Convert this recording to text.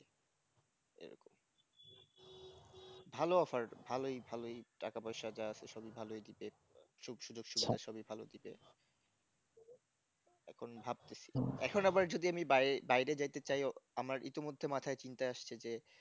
ভালো offer ভালোই ভালোই টাকা পয়সা যা আছে সবই ভালই দেবে সুখ-সুযোগ সুবিধা সবই ভালো দেবে এখন ভাবতেছি এখন আবার যদি আমি বায় বাইরে যাইতে চাই আমার ইতিমধ্যে মাথায় চিন্তাই আসছে যে